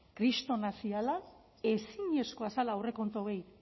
kristorenak zirela ezinezkoa zela aurrekontu hauei